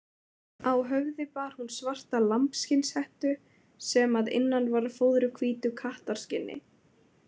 Á höfði bar hún svarta lambsskinnshettu sem að innan var fóðruð hvítu kattarskinni.